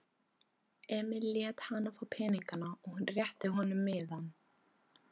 Ætli það yrðu ekki töluverð þyngsli á þeirri teskeið.